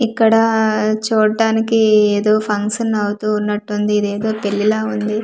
ఇక్కడ-డ-డ చూట్టానికి ఏదో ఫంక్షన్ అవుతున్నటు ఉంది ఇదేదో పెళ్ళి లా ఉంది చు--